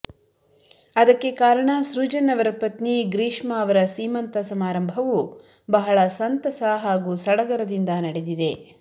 ಅದಕ್ಕೆ ಕಾರಣ ಸೃಜನ್ ಅವರ ಪತ್ನಿ ಗ್ರೀಷ್ಮಾ ಅವರ ಸೀಮಂತ ಸಮಾರಂಭವು ಬಹಳ ಸಂತಸ ಹಾಗೂ ಸಡಗರದಿಂದ ನಡೆದಿದೆ